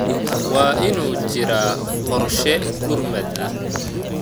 Waa inuu jiraa qorshe gurmad ah.